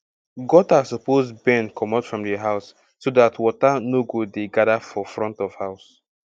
gutter suppose bend commot from di house so that water no go dey gather for front of house